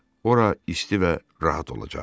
Ora isti və rahat olacaqdı.